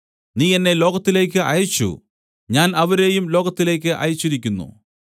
നീ എന്നെ ലോകത്തിലേക്കു അയച്ചു ഞാൻ അവരെയും ലോകത്തിലേക്കു അയച്ചിരിക്കുന്നു